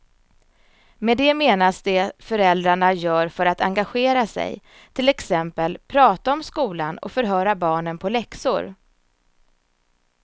Med det menas det föräldrarna gör för att engagera sig, till exempel prata om skolan och förhöra barnen på läxor.